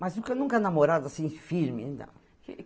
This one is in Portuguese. Mas nunca, nunca namorado assim, firme não.